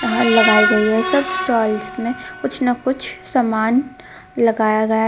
लगाई गए हे सब स्टोल्स मे कुछ ना कुछ समान लगाया गया है.